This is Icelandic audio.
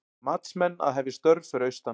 Matsmenn að hefja störf fyrir austan